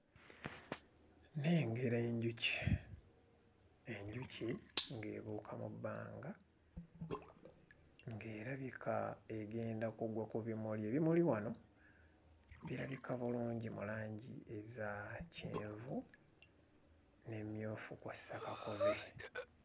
Nnengera enjuki, enjuki ng'ebuuka mu bbanga ng'erabika egenda kugwa ku bimuli. Ebimuli wano birabika bulungi mu langi eza kyenvu n'emmyufu kw'ossa kakobe.